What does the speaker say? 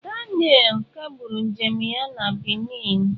Daniel kagburu njem ya na Benin.